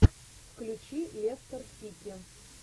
включи лестер сити